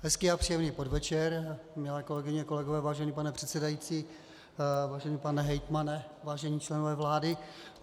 Hezký a příjemný podvečer, milé kolegyně, kolegové, vážený pane předsedající, vážený pane hejtmane, vážení členové vlády.